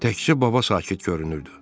Təkcə baba sakit görünürdü.